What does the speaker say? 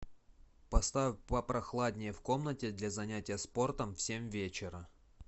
поставь попрохладнее в комнате для занятия спортом в семь вечера